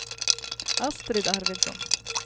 Astrid Arvidsson